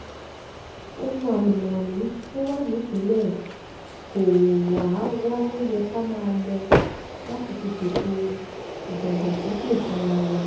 ohun àlùmọ́ọ́nì tó wà nípínlẹ̀ kóówá wa ló yẹ ká máa lò láti fi ṣètò ìdàgbàsókè fúnra wa